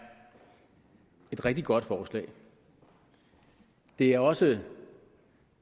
et rigtig godt forslag det er også